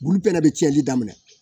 Bulu bɛɛ bɛ cɛn ɲɛni daminɛ